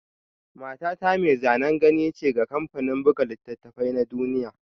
Matata mai zanen gani ce ga kamfanin buga littattafai na duniya